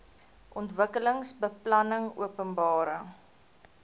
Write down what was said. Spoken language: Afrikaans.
ontwikkelingsbeplanningopenbare